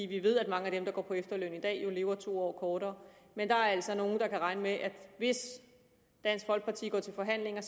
vi ved at mange af dem der går på efterløn i dag jo lever to år kortere men der er altså nogle der kan regne med at hvis dansk folkeparti går til forhandlinger